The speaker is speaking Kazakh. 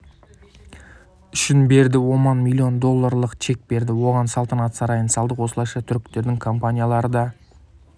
үшін берді оман млн долларлық чек берді оған салатанат сарайын салдық осылайша түріктердің компаниялары да